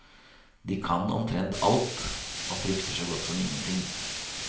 De kan omtrent alt, og frykter så godt som ingenting.